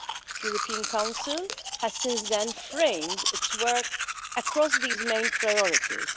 The European Council has since then framed its work across these main priorities.